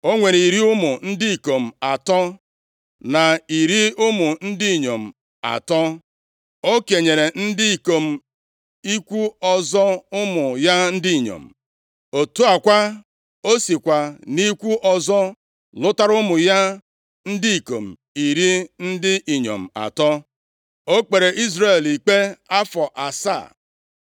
O nwere iri ụmụ ndị ikom atọ na iri ụmụ ndị inyom atọ. O kenyere ndị ikom ikwu ọzọ ụmụ ya ndị inyom. Otu a kwa, o sikwa nʼikwu ọzọ lụtara ụmụ ya ndị ikom iri ndị inyom atọ. O kpere Izrel ikpe afọ asaa.